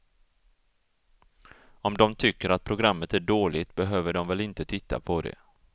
Om de tycker att programmet är dåligt behöver de väl inte titta på det.